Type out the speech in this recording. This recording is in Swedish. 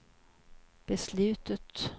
beslutet